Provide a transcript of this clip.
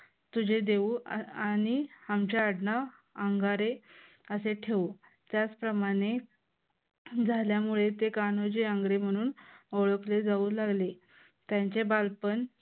तुझे देऊ आ आणि आमचे आडनाव आंगारे असे ठेवू. त्याचप्रमाणे झाल्यामुळे ते कान्होजी आंग्रे म्हणून ओळखले जाऊ लागले. त्यांचे बालपण